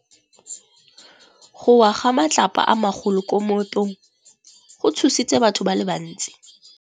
Go wa ga matlapa a magolo ko moepong go tshositse batho ba le bantsi.